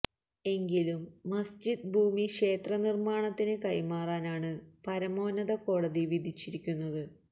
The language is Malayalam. എങ്കിലും മസ്ജിദ് ഭൂമി ക്ഷേത്ര നിർമ്മാണത്തിന് കൈമാറാനാണ് പരമോന്നത കോടതി വിധിച്ചിരിക്കുന്നത്